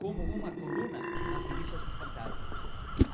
como uma coluna nas revistas do Fantasma.